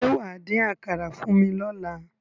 Ṣé wà á dín àkàrà fún mi lọ́la?